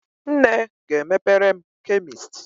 Nne ga-emepere m chemist